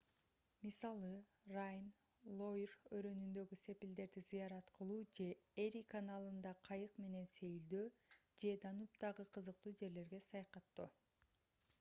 мисалы райн лойр өрөөнүндөгү сепилдерди зыярат кылуу же эри каналында кайык менен сейилдөө же данубдагы кызыктуу жерлерге саякаттоо